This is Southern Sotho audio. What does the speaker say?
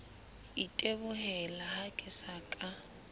itebohela ha ke sa ka